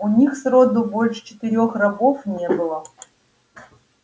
у них сроду больше четырёх рабов не было